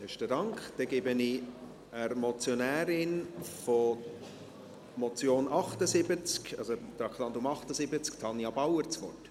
Nun gebe ich der Motionärin der Motion zum Traktandum 78 das Wort.